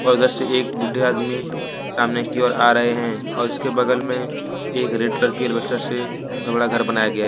उधर से एक बुड्ढे आदमी सामने की ओर आ रहे हैं और इसके बगल में एक रेड कलर के एल्बेस्टर से बड़ा घर बनाया गया--